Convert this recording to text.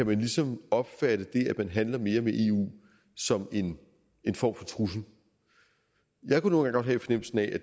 man ligesom kan opfatte det at man handler mere med eu som en form for trussel jeg kunne nu godt have fornemmelsen af at